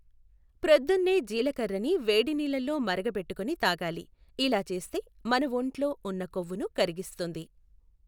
ప్రోదున్నే జీలకర్రని వేడినీళ్ళల్లో మరగబెట్టుకుని తాగాలి. ఇలా చేస్తే మన ఒంటిలో ఉన్న కొవ్వును కరిగిస్తుంది.